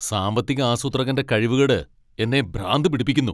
സാമ്പത്തിക ആസൂത്രകന്റെ കഴിവുകേട് എന്നെ ഭ്രാന്തു പിടിപ്പിക്കുന്നു.